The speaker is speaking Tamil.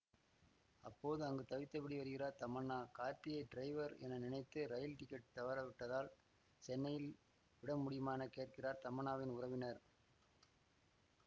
அப்போது அங்கு தவித்தபடி வருகிறார் தமன்னா கார்த்தியை டிரைவர் என நினைத்து ரயில் டிக்கெட் தவறிவிட்டதால் சென்னையில் விட முடியுமா என கேட்கிறார் தமன்னாவின் உறவினர்